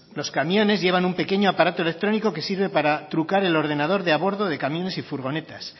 los camiones llevan un pequeño aparato electrónico que sirve para trucar el ordenador de a bordo de camiones y furgonetas